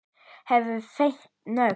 Hefur fengið nóg!